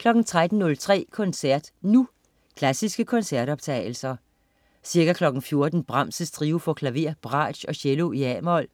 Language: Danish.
13.03 Koncert Nu. Klassiske koncertoptagelser. Ca. 14.00 Brahms: Trio for klaver, bratsch og cello, a-mol.